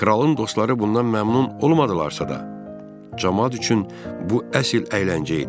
Kralın dostları bundan məmnun olmadılarsa da, camaat üçün bu əsl əyləncə idi.